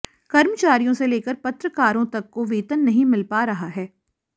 कर्मचारियों से लेकर पत्रकारों तक को वेतन नहीं मिल पा रहा है